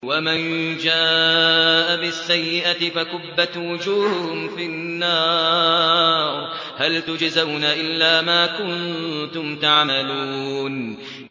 وَمَن جَاءَ بِالسَّيِّئَةِ فَكُبَّتْ وُجُوهُهُمْ فِي النَّارِ هَلْ تُجْزَوْنَ إِلَّا مَا كُنتُمْ تَعْمَلُونَ